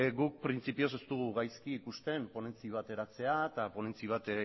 guk printzipioz ez dugu gaizki ikusten ponentzi bat eratzea eta ponentzi bat